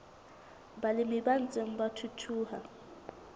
balemi ba ntseng ba thuthuha